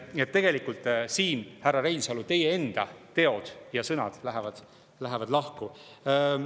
Nii et tegelikult, härra Reinsalu, teie enda teod ja sõnad lähevad siin lahku.